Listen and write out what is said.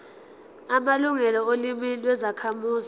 amalungelo olimi lwezakhamuzi